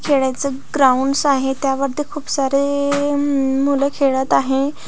खेळायचा ग्राउंडस आहेत त्यावरती खुप सारे मम मुलं खेळत आहे.